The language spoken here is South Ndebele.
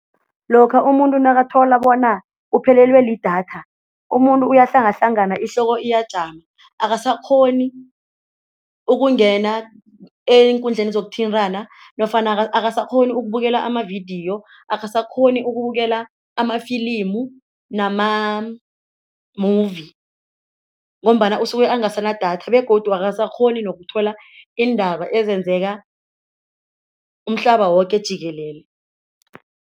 Lokha umuntu nakathola bona uphelelwe lidatha, umuntu uyahlangahlangana ihloko iyajama akasakghoni ukungena eenkundleni zokuthintana nofana akasakghoni ukubukela amavidiyo akasakghoni ukubukela amafilimu nama-movie ngombana usuke angasana datha begodu akasakghoni nokuthola iindaba ezenzeka umhlaba woke jikelele.